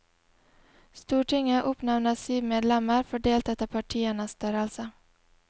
Stortinget oppnevner syv medlemmer, fordelt etter partienes størrelse.